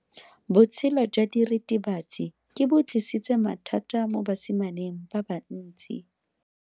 Botshelo jwa diritibatsi ke bo tlisitse mathata mo basimaneng ba bantsi.